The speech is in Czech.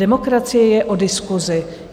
Demokracie je o diskusi.